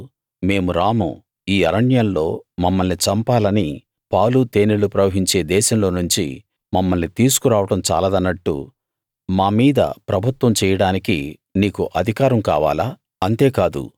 కాని వారు మేము రాము ఈ అరణ్యంలో మమ్మల్ని చంపాలని పాలు తేనెలు ప్రవహించే దేశంలో నుంచి మమ్మల్ని తీసుకు రావడం చాలదనట్టు మామీద ప్రభుత్వం చెయ్యడానికి నీకు అధికారం కావాలా